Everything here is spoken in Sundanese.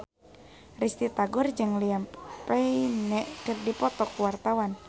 Risty Tagor jeung Liam Payne keur dipoto ku wartawan